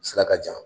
Sira ka jan